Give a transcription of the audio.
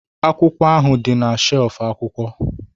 Akwụkwọ ahụ dị na shelf akwụkwọ